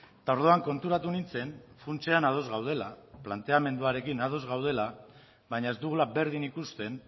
eta orduan konturatu nintzen funtsean ados gaudela planteamenduarekin ados gaudela baina ez dugula berdin ikusten